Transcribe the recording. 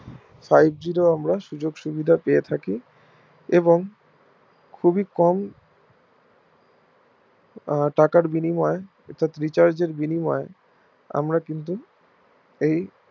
Five G র ও আমরা সুযোগ সুবিধা পেয়ে থাকি এবং খুবই কম টাকার বিনিময় অর্থাৎ Recharge এর বিনিময় আমরা কিন্তু এই